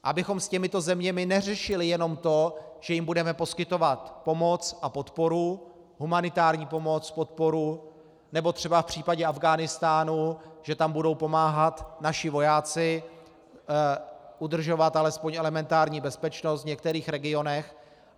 Abychom s těmito zeměmi neřešili jenom to, že jim budeme poskytovat pomoc a podporu, humanitární pomoc, podporu, nebo třeba v případě Afghánistánu že tam budou pomáhat naši vojáci udržovat alespoň elementární bezpečnost v některých regionech.